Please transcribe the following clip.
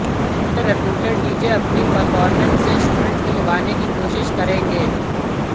जिसमें reputed DJ अपनी performance से स्टूडेंट्स को लुभाने की कोशिश करेंगे